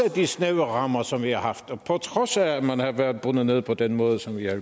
af de snævre rammer som vi har haft og på trods af at man har været bundet på den måde som vi har